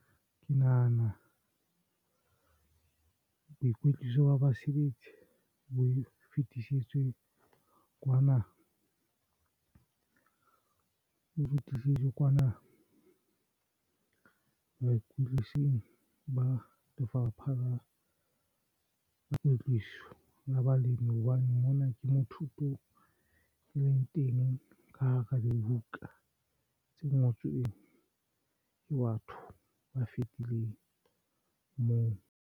Ke nahana boikwetliso ba basebetsi bo o fetisetswe kwana baikwetlising ba Lefapha la Kwetliso la Balemi hobane mona ke motho thuto e leng teng ka hara dibuka tse ngotsweng ke batho ba fetileng moo.